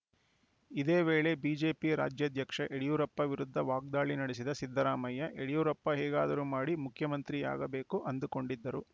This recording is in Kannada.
ಇದೇ ವೇಳೆ ಬಿಜೆಪಿ ರಾಜ್ಯಾಧ್ಯಕ್ಷ ಯಡಿಯೂರಪ್ಪ ವಿರುದ್ಧ ವಾಗ್ದಾಳಿ ನಡೆಸಿದ ಸಿದ್ದರಾಮಯ್ಯ ಯಡಿಯೂರಪ್ಪ ಹೇಗಾದರೂ ಮಾಡಿ ಮುಖ್ಯಮಂತ್ರಿಯಾಗಬೇಕು ಅಂದುಕೊಂಡಿದ್ದರು